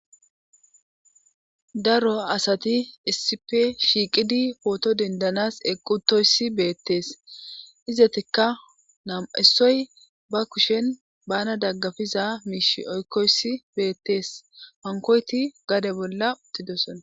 daro asati issipe shiiqidi pooto dendanas equtoyssi beettees izetikka nam7isoy ba kushen bana daggafiza miishi oykkoyssi beettees hankoyti gade bolla uttidosona